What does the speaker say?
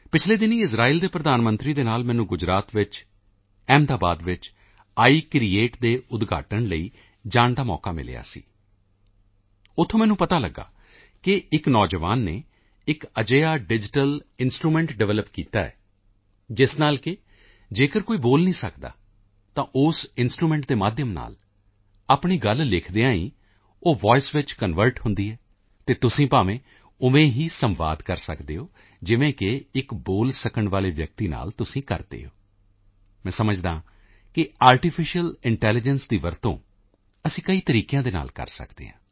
ਪਿਛਲੇ ਦਿਨੀਂ ਇਜ਼ਰਾਇਲ ਦੇ ਪ੍ਰਧਾਨ ਮੰਤਰੀ ਦੇ ਨਾਲ ਮੈਨੂੰ ਗੁਜਰਾਤ ਵਿੱਚ ਅਹਿਮਦਾਬਾਦ ਵਿੱਚ ਆਈਕ੍ਰੀਏਟ ਦੇ ਉਦਘਾਟਨ ਲਈ ਜਾਣ ਦਾ ਮੌਕਾ ਮਿਲਿਆ ਸੀ ਉੱਥੇ ਮੈਨੂੰ ਪਤਾ ਲੱਗਿਆ ਕਿ ਇੱਕ ਨੌਜਵਾਨ ਨੇ ਇੱਕ ਅਜਿਹਾ ਡਿਜੀਟਲ ਇੰਸਟਰੂਮੈਂਟ ਡਿਵੈਲਪ ਕੀਤਾ ਹੈ ਜਿਸ ਨਾਲ ਕਿ ਜੇਕਰ ਕੋਈ ਬੋਲ ਨਹੀਂ ਸਕਦਾ ਤਾਂ ਉਸ ਇੰਸਟਰੂਮੈਂਟ ਦੇ ਮਾਧਿਅਮ ਨਾਲ ਆਪਣੀ ਗੱਲ ਲਿਖਦਿਆਂ ਹੀ ਉਹ ਵੋਇਸ ਵਿੱਚ ਕਨਵਰਟ ਹੁੰਦੀ ਹੈ ਅਤੇ ਤੁਸੀਂ ਉਵੇਂ ਹੀ ਸੰਵਾਦ ਕਰ ਸਕਦੇ ਹੋ ਜਿਵੇਂ ਕਿ ਇੱਕ ਬੋਲ ਸਕਣ ਵਾਲੇ ਵਿਅਕਤੀ ਨਾਲ ਤੁਸੀਂ ਕਰਦੇ ਹੋ ਮੈਂ ਸਮਝਦਾ ਹਾਂ ਕਿ ਆਰਟੀਫਿਸ਼ੀਅਲ ਇੰਟੈਲੀਜੈਂਸ ਦੀ ਵਰਤੋਂ ਅਸੀਂ ਕਈ ਤਰੀਕਿਆਂ ਨਾਲ ਕਰ ਸਕਦੇ ਹਾਂ